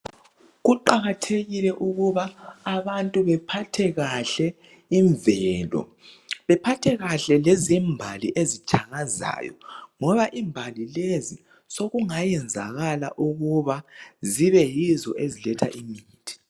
Kuqakathekile ukuba abantu bephathe kahle imvelo, bephathe kahle lezimbali ezitshakazayo ngoba imbali lezi sokungayenzakala ukuba zibe yizo eziletha imithi